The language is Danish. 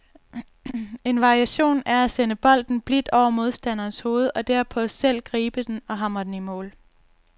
En variation er at sende bolden blidt over modstanderens hoved og derpå selv gribe den og hamre den i mål.